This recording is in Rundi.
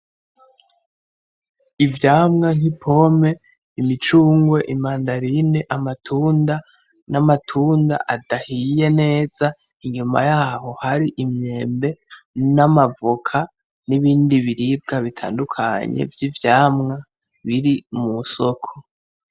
Ivyamwa nk'ipome imicungwe imandarine amatunda n'amatunda adahiye neza inyuma yaho hari imyembe n'amavoka n'ibindi biribwa bitandukanye vy'ivyamwa biri mu soko